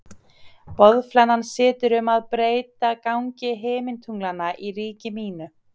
Boðflennan situr um að breyta gangi himintunglanna í ríki mínu.